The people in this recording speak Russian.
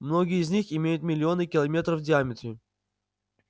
многие из них имеют миллионы километров в диаметре